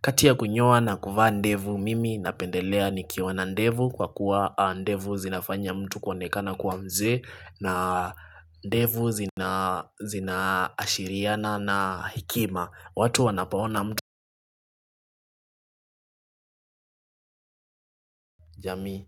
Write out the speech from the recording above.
Kati ya kunyoa na kuvaa ndevu mimi napendelea nikiwa na ndevu kwa kuwa ndevu zinafanya mtu kuonekana kuwa mzee na ndevu zinaashiriana na hekima watu wanapo ona mtu jami.